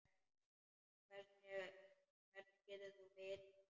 Hvernig getur þú vitað þetta?